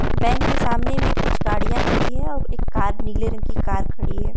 Bank के सामने मे कुछ गाड़ियां खड़ी है और एक कार नीले रंग की कार खड़ी है।